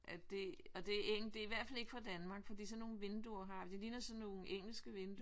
At det og det er en det er i hvert fald ikke fra Danmark for de sådan nogle vinduer har det ligner sådan nogle engelske vinduer